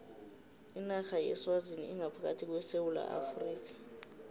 inarha yeswazini ingaphakathi kwesewula afrika